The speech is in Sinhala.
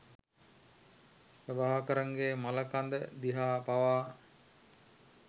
ප්‍රභාකරන්ගේ මළකඳ දිහා පවා